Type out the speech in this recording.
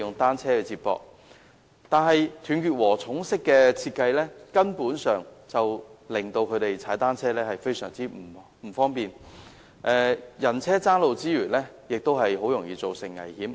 但是，"斷截禾蟲"式的設計令他們踏單車時非常不便，人車爭路之餘，亦很容易造成危險。